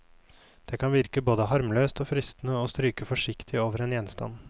Det kan virke både harmløst og fristende å stryke forsiktig over en gjenstand.